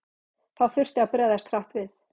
Þá þurfti að bregðast hratt við.